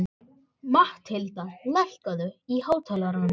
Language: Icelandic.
Mathilda, lækkaðu í hátalaranum.